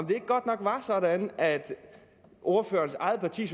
det ikke godt nok sådan at ordførerens eget parti